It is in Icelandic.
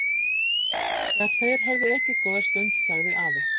Þegar þeir höfðu ekið góða stund sagði afi